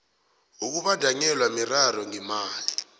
ukubandanyelwa miraro ngemali